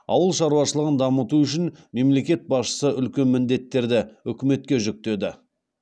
ауыл шаруашылығын дамыту үшін мемлекет басшысы үлкен міндеттерді үкіметке жүктеді